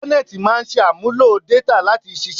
Intanẹẹti máa ń ṣàmúlò détà láti ṣiṣẹ́